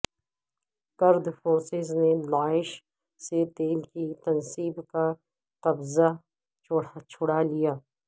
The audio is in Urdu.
کرد فورسز نے داعش سے تیل کی تنصیب کا قبضہ چھڑا لیا